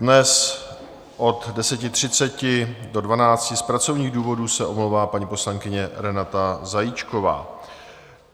Dnes od 10.30 do 12 z pracovních důvodů se omlouvá paní poslankyně Renáta Zajíčková.